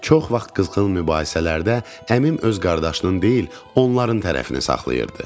Çox vaxt qızğın mübahisələrdə əmim öz qardaşının deyil, onların tərəfini saxlayırdı.